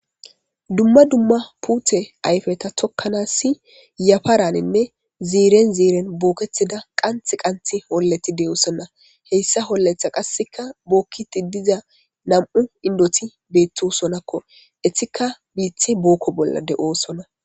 dumma dumma puute ayfeta tokkanas si yafaraninne ziiren ziiren booketida qanth qanth holleti de7oosonna heyssa holletha qasseka bookkiti diza nam7u indoti beettosonakko estika biithe bookko bolla de7oosonna